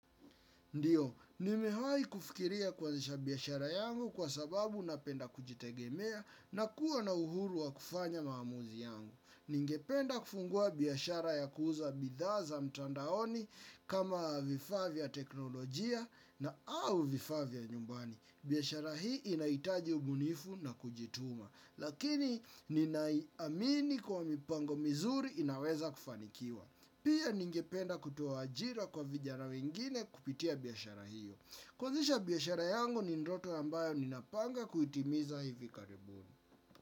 Ndiyo, nimewahi kufikiria kuanzisha biashara yangu kwa sababu napenda kujitegemea na kuwa na uhuru wa kufanya maamuzi yangu. Ningependa kufungua biyashara ya kuuza bidhaa za mtandaoni kama vifaa vya teknolojia au vifaa vya nyumbani. Biashara hii inahitaji ubunifu na kujituma. Lakini ninai amini kwa mipango mizuri inaweza kufanikiwa. Pia ningependa kutoa ajira kwa vijana wengine kupitia biashara hiyo. Kuanzisha biashara yangu ni ndoto ambayo ninapanga kutimiza hivi karibuni.